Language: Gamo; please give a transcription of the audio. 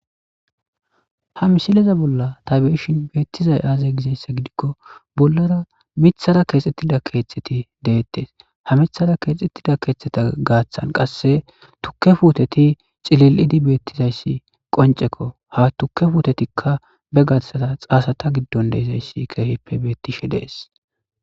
Ha misileza bolla ta beyoshi beetizaus aaze gizaysa gidiko bollara mithara keexetida keethati deetes ha mithara keexetida keethata gaathan qase tuke puuteti cililidi betozaysi qonceko ha tuke puutetika be garsara xaasata gidon dizaysi keehippe beetishe dees.